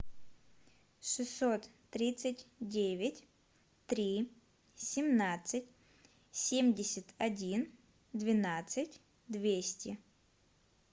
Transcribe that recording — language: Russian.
шестьсот тридцать девять три семнадцать семьдесят один двенадцать двести